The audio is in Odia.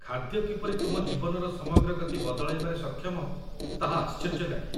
ଖାଦ୍ୟ କିପରି ତୁମ ଜୀବନର ସମଗ୍ର ଗତି ବଦଳାଇବାରେ ସକ୍ଷମ ତାହା ଆଶ୍ଚର୍ଯ୍ୟ ଲାଗେ।